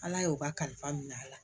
Ala y'o kalifa minɛ a la